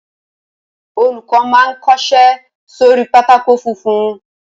Olùkọ́ má n kọsẹ́ sórí pátákó funfun